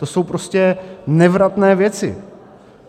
To jsou prostě nevratné věci.